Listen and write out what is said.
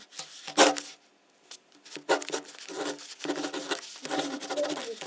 Þinn bróðir